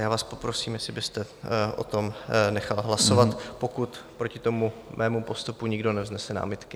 Já vás poprosím, jestli byste o tom nechal hlasovat, pokud proti tomuto mému postupu nikdo nevznese námitky.